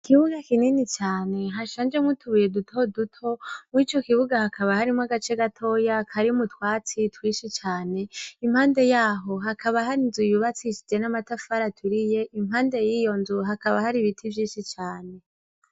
Ikibuga kinini cane hashanjemwo utubuye duto duto. Muri co kibuga, hakaba harimwo agace gatoya karimwo utwatsi twinshi cane. Impande yaho, hakaba hari inzu yubakishijwe n'amatafari aturiye; impande y'iyo nzu, hakaba hari ibiti vyinshi cane.